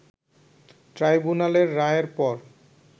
ট্রাইব্যুনালের রায়ের পর